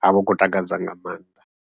ha vha hu khou takadza nga maanḓa.